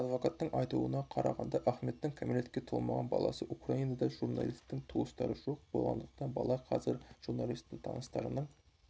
адвокаттың айтуына қарағанда ахметтің кәмелетке толмаған баласы украинада журналистің туыстары жоқ болғандықтан бала қазір журналистің таныстарының